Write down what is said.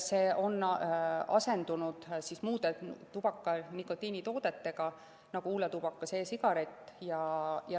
See on asendunud muude tubaka‑ ja nikotiinitoodetega, nagu huuletubakas ja e‑sigaret.